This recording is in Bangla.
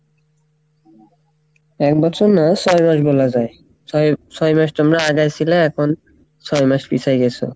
এক বছর না ছয় মাস বলা যাই ছয় ছয় মাস তোমরা আগাই সিলা এখন ছয় মাস পিছাই গেসো।